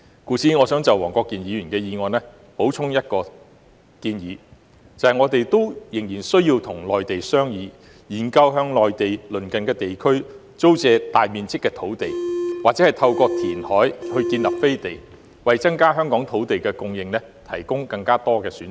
因此，我想就黃國健議員的議案補充一項建議，就是我們仍需與內地商議，研究向內地鄰近地區租借大面積的土地，或透過填海建立"飛地"，為增加香港土地供應提供更多選擇。